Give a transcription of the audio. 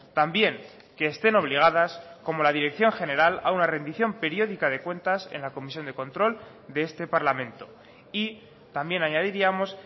también que estén obligadas como la dirección general a una rendición periódica de cuentas en la comisión de control de este parlamento y también añadiríamos